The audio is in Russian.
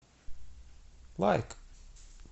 лайк